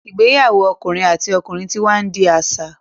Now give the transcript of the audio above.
igbeyawo okunrin àti ọkùnrin tí wá ndi aṣa.